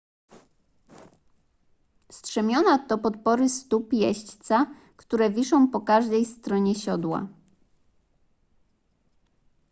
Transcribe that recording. strzemiona to podpory stóp jeźdźca które wiszą po każdej stronie siodła